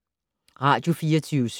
Radio24syv